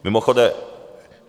Mimochodem...